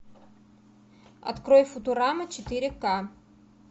открой футурама четыре ка